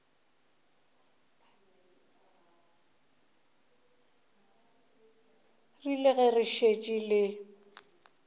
rile ge le šetše le